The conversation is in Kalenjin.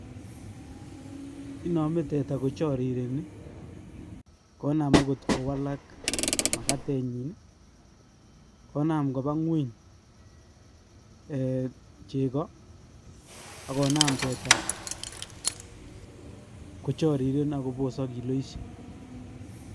Inome teta kochorireni, konam okot kowalak makatenyin, konam koba ng'weny chekoo ak konam teta kochoriren ak kobosok kiloishek.